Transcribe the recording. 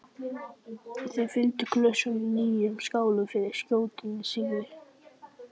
Þeir fylltu glösin að nýju og skáluðu fyrir skjótum sigri.